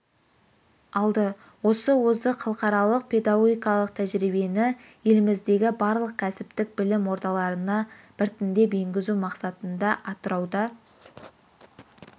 алды осы озық халықаралық педагогикалық тәжірибені еліміздегі барлық кәсіптік білім ордаларына біртіндеп енгізу мақсатында атырауда